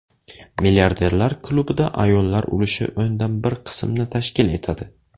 Milliarderlar klubida ayollar ulushi o‘ndan bir qismni tashkil etadi.